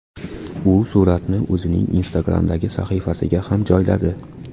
U suratni o‘zining Instagram’dagi sahifasiga ham joyladi.